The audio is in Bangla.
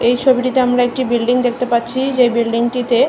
এই ছবিটিতে আমরা একটা বিল্ডিং দেখতে পারছি। যে বিল্ডিং টি তে--